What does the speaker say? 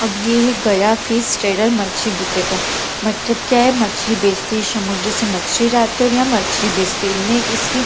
अब ये है गया फिश ट्रेडर मछली बिक्रेता। मच्छम क्या है मछली बेचती है समुद्र से मछली जाती है और यहां मछली बेचती हैं। इसकी --